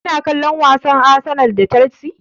Kana kallon wasan Arsenal da Chelsea?